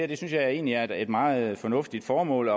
det synes jeg egentlig er et meget fornuftigt formål